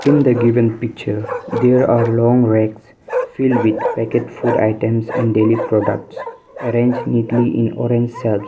in the given picture there are long racks filled with packet food items and daily products arranged neatly in orange shelves.